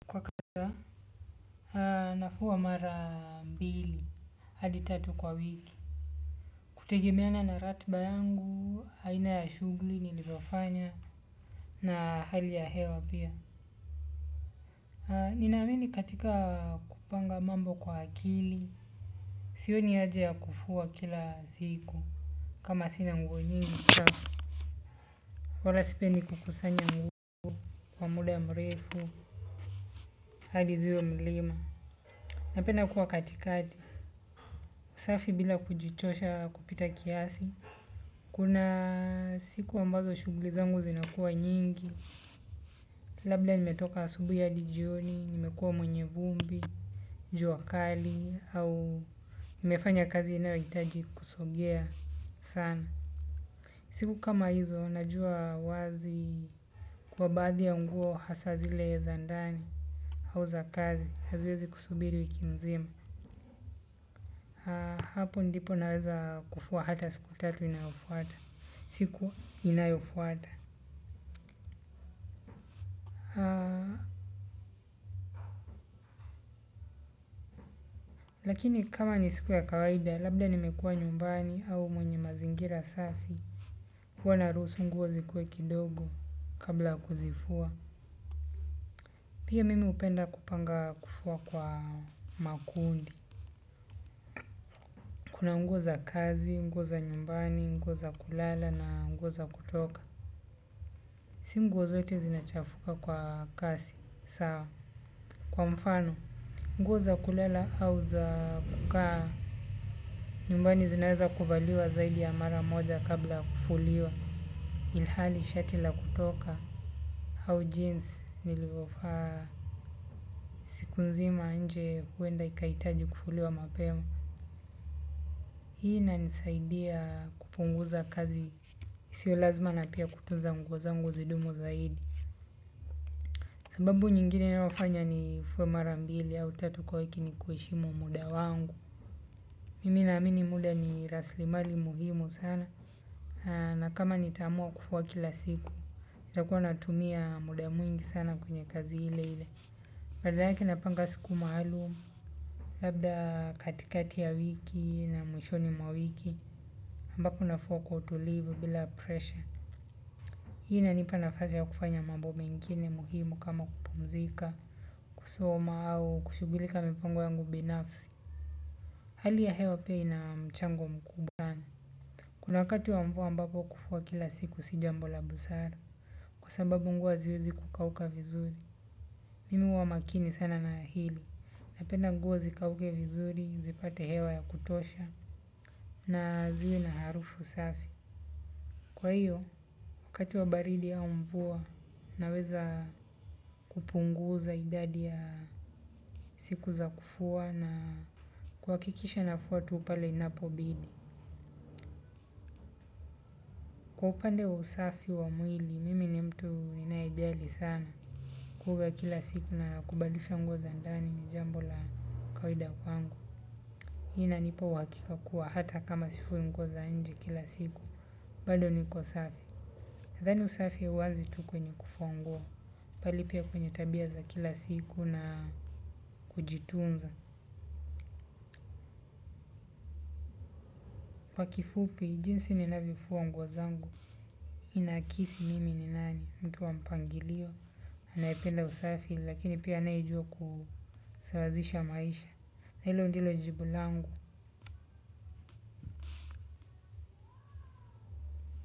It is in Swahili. Nafua mara mbili hadi tatu kwa wiki. Kutegemeana na ratiba yangu aina ya shughuli nilizofanya na hali ya hewa pia. Nina amini katika kupanga mambo kwa akili. Sioni haja ya kufua kila siku. Kama sina nguo nyingi chafu wala sipendi kukusanya nguo kwa muda ya mrefu hadi ziwe mlima. Napenda kuwa katikati. Usafi bila kujichosha kupita kiasi. Kuna siku ambazo shuguli zangu zinakua nyingi, labda nimetoka asubuhi hadi jioni, nimekua mwenye vumbi, jua kali, au nimefanya kazi inayoitaji kusogea sana. Siku kama hizo, najua wazi kuwa baadhi ya nguo hasa zile za ndani, au za kazi, haziwezi kusubiri wiki mzima. Hapo ndipo naweza kufua hata siku tatu inayofuata. Siku inayofuata. Lakini kama ni siku ya kawaida, labda nimekua nyumbani au mwenye mazingira safi. Huwa na rahusu nguo zikuwe kidogo kabla ya kuzifua. Pia mimi upenda kupanga kufua kwa makundi. Kuna nguo za kazi, nguo za nyumbani, nguo za kulala na nguo za kutoka. Sio nguo zote zinachafuka kwa kasi, saa. Kwa mfano, nguo za kulala au za kukaa nyumbani zinaeza kuvaliwa zaidi ya mara moja kabla ya kufuliwa. Ilhali shati la kutoka au jinsi nililovaa siku nzima nje huenda ikahitaji kufuliwa mapema hii. Inanisaidia. Sio lazima na pia kutunza nguo zangu zidumu zaidi. Sababu nyingine inayofanya nifue mara mbili au tatu kwa wiki ni kuheshimu muda wangu. Mimi na amini muda ni raslimali muhimu sana. Na kama nitaamua kufua kila siku. Nitakuwa natumia muda mwingi sana kwenye kazi ile ile. Labda yake napanga siku maalum. Labda katikati ya wiki na mwishoni mwa wiki ambako nafua kwa utulivu bila presha. Hii inanipa nafasi ya kufanya mambo mengine muhimu kama kupumzika kusoma au kushughulika na mpango yangu binafsi. Hali ya hewa pia ina mchango mkubwa. Kuna wakati wa mvua mbapo kufua kila siku sio jambo la busara. Kwa sababu nguo haziwezi kukauka vizuri. Mimi huwa makini sana na hilo. Napenda nguo zikauke vizuri, zipate hewa ya kutosha, na ziwe na harufu safi. Kwa hiyo, wakati wa baridi au mvua, naweza kupunguza idadi ya siku za kufua na kuhakikisha nafua tu pale inapobidi. Kwa upande wa usafi wa mwili, mimi ni mtu ninayejali sana kuvaa kila siku na kubadilisha nguo za ndani ni jambo la kawaida kwangu. Hiyo. Inanipa uhakika kuwa hata kama sifui nguo za nje kila siku bado niko safi. Nadhani usafi hauanzi tu kwenye kufua nguo. Bali pia kwenye tabia za kila siku na kujitunza. Kwa kifupi, jinsi ninavyofua nguo zangu. Inaakisi mimi ni nani, mtu wa mpangilio. Anayependa usafi, lakini pia anayejua kusawazisha maisha. Na hilo ndilo jibu langu.